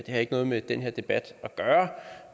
har ikke noget med den her debat at gøre